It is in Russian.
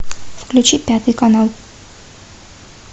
включи пятый канал